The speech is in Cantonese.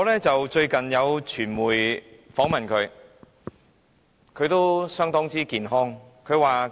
最近有傳媒訪問盧少蘭婆婆，她相當健康。